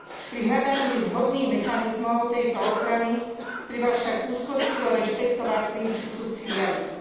Pri hľadaní vhodných mechanizmov tejto ochrany treba však úzkostlivo rešpektovať princíp subsidiarity.